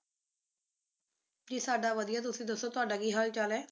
ਜੀ ਸਾਡਾ ਵਧੀਆ ਤੁਸੀਂ ਦੱਸੋ ਤੁਹਾਡਾ ਕੀ ਹਾਲ ਚਲ ਐ